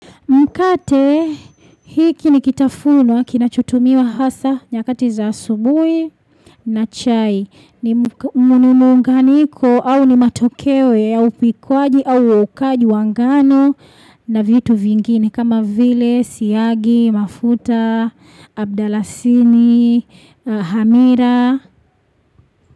Mkate, hiki ni kitafunwa, kinachutumiwa hasa, nyakati za asubui na chai. Ni nunuunganiko, au ni matokewe, au pikwaji, au ukaji wanganu na vitu vingini. Kama vile, siyagi, mafuta, abdalasini, hamira.